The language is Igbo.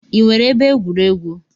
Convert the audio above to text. Ị nwere ebe egwuregwu?